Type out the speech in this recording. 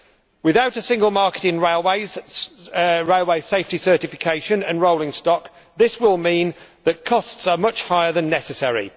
Without a single market in railways, railway safety certification and rolling stock, this will mean that costs are much higher than necessary.